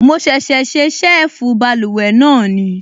Mo ṣẹ̀ṣẹ̀ ṣe ṣẹ́ẹ̀fù báluwẹ̀ náà